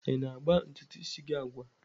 Ị na-agba ntutu isi gị agwa?